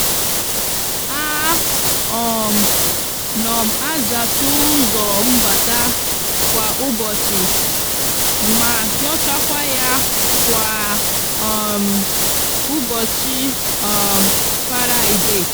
a um no m azacha uzo mbata kwa ubochi ma hiochakwa ya kwa um ubochi um faraide.